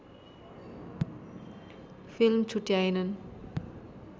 film छोट्याएनन्